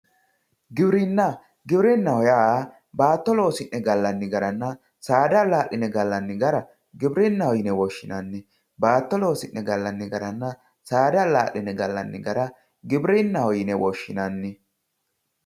Giwirinna, giwirinaho yaa baato loosine galanni garanna saada alaline galanni gara giwirinaho yine woshinnanni, baato loosine galanni garanna saada alaline galanni gara giwitinnaho yine woshinanni.